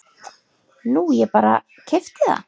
Nú ég bara. keypti það.